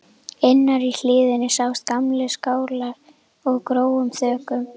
Innar í hlíðinni sáust gamlir skálar með grónum þökum.